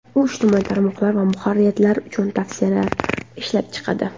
U ijtimoiy tarmoqlar va muharririyatlar uchun tavsiyalar ishlab chiqadi.